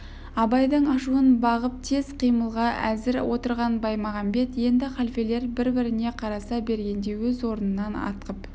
абайдың ашуын бағып тез қимылға әзір отырған баймағамбет енді халфелер бір-біріне қараса бергенде өз орнынан атқып